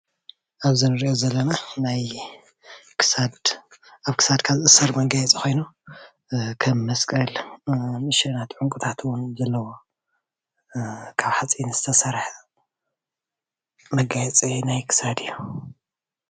ኣብዚ እንሪኦ ዘለና ናይ ክሳድ ኣብ ክሰድካ ዝእሰር መጋየፂ ከም መስቀል ንእሽተይ ዕንቁታት እውን ከም ዘለዎ ካብ ሓፂን ዝተሰርሐ መጋየፂ ናይ ክሳድ እዩ፡፡